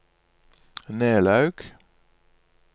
Nelaug